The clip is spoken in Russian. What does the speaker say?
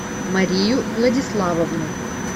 марию владиславовну